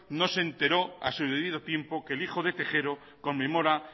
no se enteró a su debido tiempo que el hijo de tejero conmemora